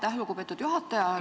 Aitäh, lugupeetud juhataja!